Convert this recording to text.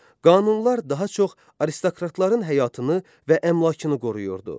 Qanunlar daha çox aristokratların həyatını və əmlakını qoruyurdu.